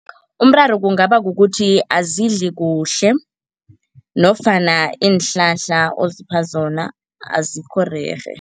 Umraro kungaba kukuthi azidli kuhle nofana iinhlahla ozipha zona azikho rerhe.